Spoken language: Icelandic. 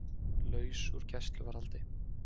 Laus úr gæsluvarðhaldi